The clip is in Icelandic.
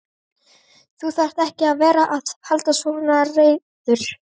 Þú þarft ekki að vera að halda svona ræður.